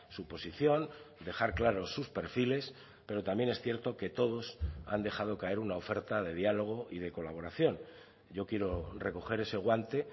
su posición dejar claros sus perfiles pero también es cierto que todos han dejado caer una oferta de diálogo y de colaboración yo quiero recoger ese guante